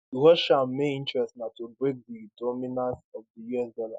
russia main interest na to break di dominance of di us dollar